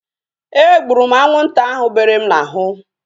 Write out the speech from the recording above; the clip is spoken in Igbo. E gburu m anwụnta ahu bere m n'ahụ